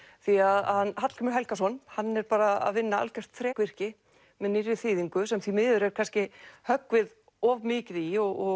því hann Hallgrímur Helgason hann er bara að vinna algjört þrekvirki með nýrri þýðingu sem því miður er kannski höggvið of mikið í og